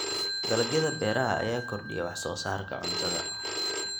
Dalagyada beeraha ayaa kordhiya wax soo saarka cuntada.